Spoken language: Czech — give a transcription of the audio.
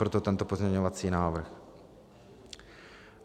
Proto tento pozměňovací návrh.